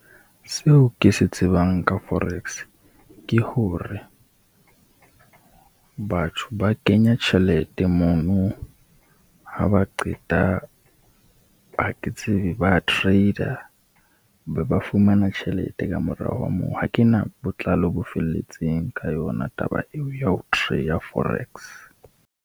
Seo ke se tsebang ka forex, ke hore batho ba kenya tjhelete mono ha ba qeta, ha ke tsebe ba trade-a be ba fumana tjhelete ka morao ha moo. Ha ke na botlalo bo felletseng ka yona taba eo ya ho ya forex.